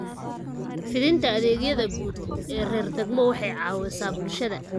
Fidinta adeegyada guud ee heer degmo waxay caawisaa bulshada.